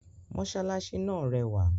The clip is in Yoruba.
Mosalasi náà rẹwà